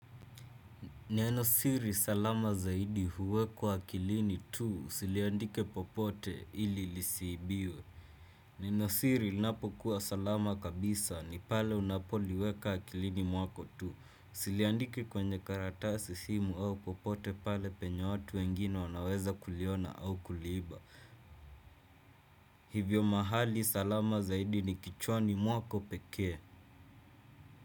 Nenosiri salama zaidi huwekwa akilini tu usiliandike popote ili lisiibiwe. Nenosiri linapokuwa salama kabisa ni pale unapoliweka akilini mwako tu. Usiliandike kwenye karatasi, simu au popote pale penye watu wengine wanaweza kuliona au kuliiba. Hivyo mahali salama zaidi ni kichwani mwako pekee.